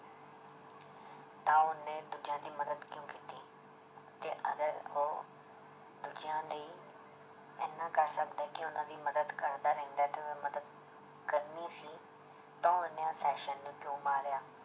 ਤਾਂ ਉਹਨੇ ਦੂਜਿਆਂ ਦੀ ਮਦਦ ਕਿਉਂ ਕੀਤੀ ਕਿ ਅਗਰ ਉਹ ਦੂਜਿਆਂ ਲਈ ਇੰਨਾ ਕਰ ਸਕਦਾ ਹੈ ਕਿ ਉਹਨਾਂ ਦੀ ਮਦਦ ਕਰਦਾ ਰਹਿੰਦਾ ਹੈ ਤੇ ਮਦਦ ਕਰਨੀ ਸੀ ਤਾਂ ਉਹਨੇ ਨੂੰ ਕਿਉਂ ਮਾਰਿਆ